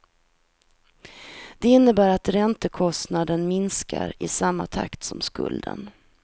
Det innebär att räntekostnaden minskar i samma takt som skulden.